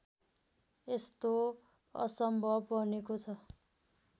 यस्तो असम्भव बनेको छ